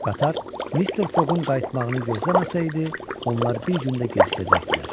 Qatar Mister Foqun qayıtmağını gözləməsəydi, onlar bir gün də gecikəcəkdilər.